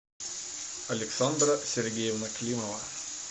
александра сергеевна климова